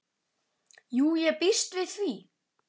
Jú, ég býst við því